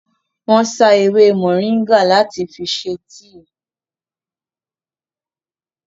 Wọ́n sá ewé mọ̀nríngà náà láti ṣe tíì